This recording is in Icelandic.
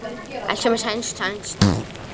Allt sem er sænskt, sænskt.